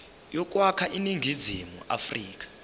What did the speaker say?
yokwakha iningizimu afrika